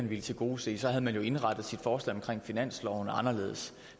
ville tilgodese så havde man jo indrettet sit forslag til finansloven anderledes